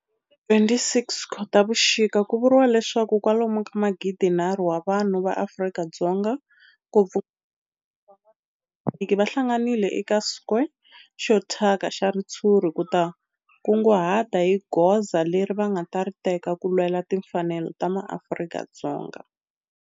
Hi ti 26 Khotavuxika ku vuriwa leswaku kwalomu ka magidinharhu wa vanhu va Afrika-Dzonga, ngopfungopfu van'watipolitiki va hlanganile eka square xo thyaka xa ritshuri ku ta kunguhata hi goza leri va nga ta ri teka ku lwela timfanelo ta maAfrika-Dzonga.